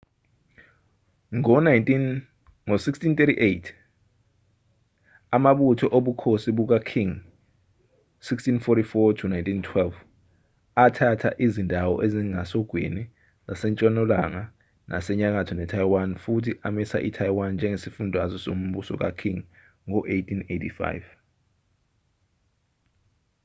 ngo-1683 amabutho obukhosi buka-qing 1644-1912 athatha izindawo ezingasogwini ezisentshonalanga nasenyakatho ne-taiwan futhi amisa i-taiwan njengesifundazwe sombuso ka-qing ngo-1885